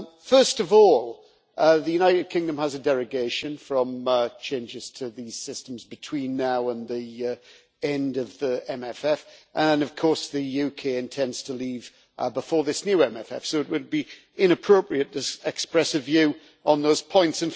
First of all, the United Kingdom has a derogation from changes to these systems between now and the end of the MFF and, of course, the UK intends to leave before this new MFF, so it would be inappropriate to express a view on those points.